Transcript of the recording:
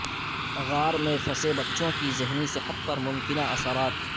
غار میں پھنسے بچوں کی ذہنی صحت پر ممکنہ اثرات